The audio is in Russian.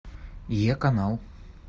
е канал